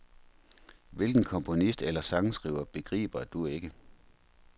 Hvilken komponist eller sangskriver begriber du ikke?